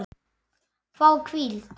Fái hvíld?